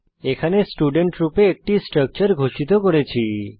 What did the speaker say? এখানে স্টুডেন্ট রূপে একটি স্ট্রাকচার ঘোষিত করেছি